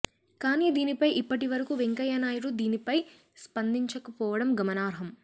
కానీ దీనిపై ఇప్పటి వరకు వెంకయ్య నాయుడు దీనిపై స్పందించక పోవడం గమనార్హం